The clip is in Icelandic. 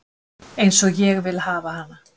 Eins og ég vil hafa hana